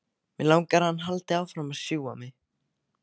Mig langar að hann haldi áfram að sjúga mig.